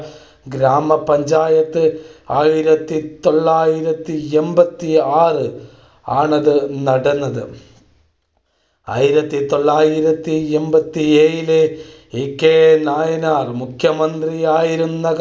ഗ്രാമ പഞ്ചായത്ത്. ആയിരത്തി തൊള്ളായിരത്തി എൺപത്തിആറ് ആണതു നടന്നത്. ആയിരത്തി തൊള്ളായിരത്തി എൺപത്തിഏഴിലെ ഇകെ നായനാർ മുഖ്യമന്ത്രി ആയിരുന്ന